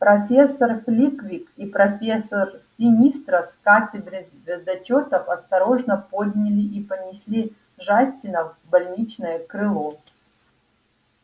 профессор флитвик и профессор синистра с кафедры звездочётов осторожно подняли и понесли джастина в больничное крыло